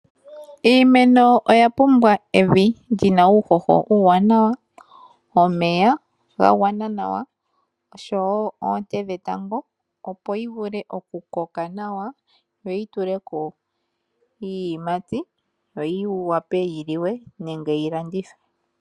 Iimeno oya pumbwa evi li na uuhoho uwanawa, omeya ga gwana nawa, osho wo oonte dhetango, opo yi vue okukoka nawa , yo yibyule ko iiyimati, yo yi wape yi liwe nenge yilandithwe .